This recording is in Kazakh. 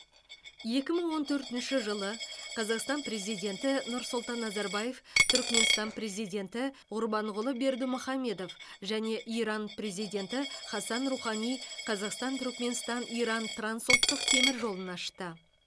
екі мың он төртінші жылы қазақстан президенті нұрсұлтан назарбаев түрікменстан президенті ғұрбанғұлы бердімұхамедов және иран президенті хасан рухани қазақстан түрікменстан иран трансұлттық темір жолын ашты